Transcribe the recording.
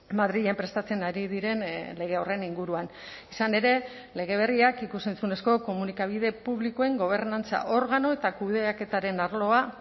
madrilen prestatzen ari diren lege horren inguruan izan ere lege berriak ikus entzunezko komunikabide publikoen gobernantza organo eta kudeaketaren arloa